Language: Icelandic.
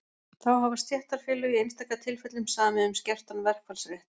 Þá hafa stéttarfélög í einstaka tilfellum samið um skertan verkfallsrétt.